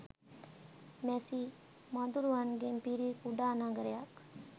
මැසි මදුරුවන්ගෙන් පිරි කුඩා නගරයක්